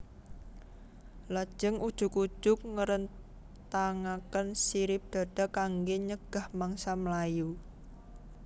Lajeng ujug ujug ngrentangaken sirip dada kanggé nyegah mangsa mlayu